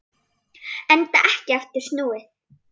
Enda ekki aftur snúið.